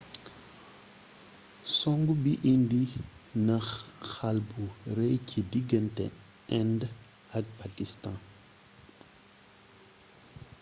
songu bi indi na xall bu rëy ci diggante indë ak pakistaan